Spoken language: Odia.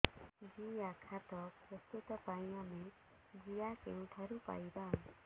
ଜିଆଖତ ପ୍ରସ୍ତୁତ ପାଇଁ ଆମେ ଜିଆ କେଉଁଠାରୁ ପାଈବା